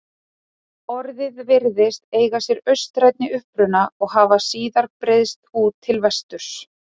Orðið virðist eiga sér austrænni uppruna og hafa síðar breiðst út til vesturs.